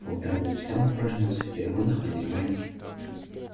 по утрам я читал упражнялся в переводах а иногда и